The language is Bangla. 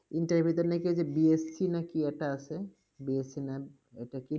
intern এর ভিতর নাকি ওই যে BFC না কি একটা আছে? BFC না একটা কি